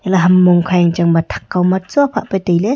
naham mongkha yengchang ma thak kaw ma chuak hah pa tailey.